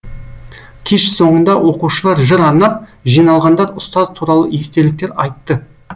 кеш соңында оқушылар жыр арнап жиналғандар ұстаз туралы естеліктер айтты